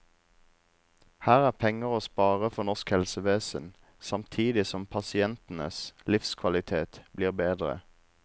Her er det penger å spare for norsk helsevesen, samtidig som pasientenes livskvalitet blir bedre.